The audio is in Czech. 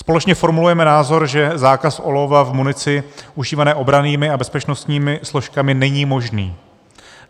Společně formulujeme názor, že zákaz olova v munici užívané obrannými a bezpečnostními složkami není možný.